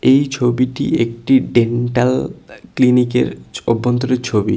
এই ছবিটি একটি ডেন্টাল আঃ ক্লিনিক -এর অভ্যন্তরের ছবি।